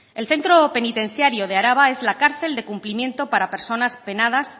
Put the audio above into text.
el centro penitenciario de araba es la cárcel de cumplimiento para personas penadas